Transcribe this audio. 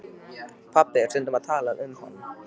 Pabbi er stundum að tala um hann.